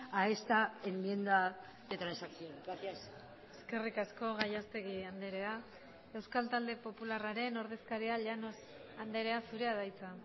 a esta enmienda de transacción gracias eskerrik asko gallastegui andrea euskal talde popularraren ordezkaria llanos andrea zurea da hitza